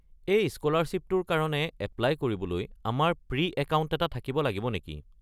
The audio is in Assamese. এই স্কলাৰশ্বিপটোৰ কাৰণে এপ্লাই কৰিবলৈ আমাৰ প্ৰি-একাউণ্ট এটা থাকিব লাগিব নেকি?